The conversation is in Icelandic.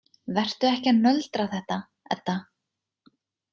Vertu ekki að nöldra þetta, Edda.